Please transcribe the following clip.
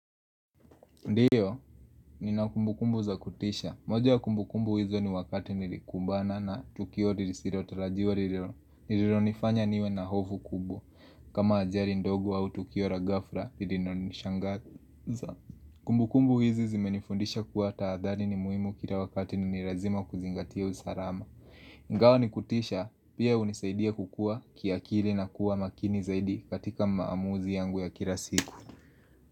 Ndiyo, nina kumbukumbu za kutisha. Moja ya kumbukumbu hizo ni wakati nilikumbana na tukio rilisirotarajiwa riliro. Nilironifanya niwe na hofu kubwa. Kama ajari ndogo au tukio ra ghafra, ririnonishangaza. Kumbukumbu hizo zimenifundisha kuwa taadhari ni muimu kira wakati na ni razima kuzingatia usarama. Ingawa ni kutisha, pia unisaidia kukua kiakili na kuwa makini zaidi katika maamuzi yangu ya kira siku.